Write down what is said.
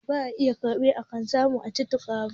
Ba iya kifi ake samu a cikin Teku ba.